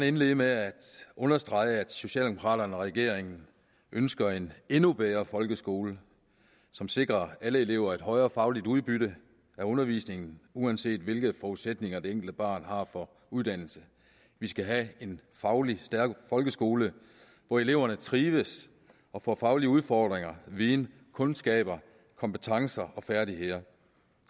indlede med at understrege at socialdemokraterne og regeringen ønsker en endnu bedre folkeskole som sikrer alle elever et højere fagligt udbytte af undervisningen uanset hvilke forudsætninger det enkelte barn har for uddannelse vi skal have en fagligt stærk folkeskole hvor eleverne trives og får faglige udfordringer viden kundskaber kompetencer og færdigheder